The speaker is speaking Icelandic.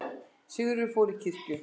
Sigríður fór til kirkju.